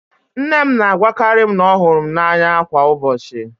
Nne m na-agwakarị m na ọ hụrụ m n'anya kwa ụbọchị.